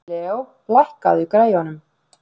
Leo, lækkaðu í græjunum.